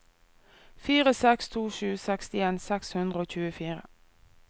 fire seks to sju sekstien seks hundre og tjuefire